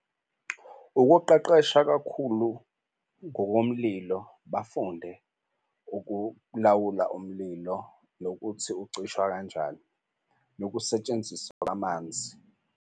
Ukuqeqesha kakhulu ngokomlilo bafunde ukulawula umlilo, nokuthi ucishwa kanjani nokusetshenziswa kwamanzi.